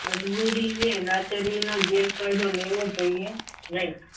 મજબૂરી ને લાચારીનો ગેરફાયદો લેવો જોઈએ નહીં.